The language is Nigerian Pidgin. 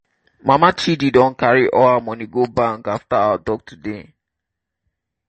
mama chidi don carry all her money go bank after our talk today.